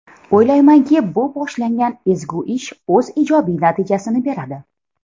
O‘ylaymanki, bu boshlangan ezgu ish o‘z ijobiy natijasini beradi.